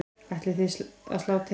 Ætlið þið að slá til?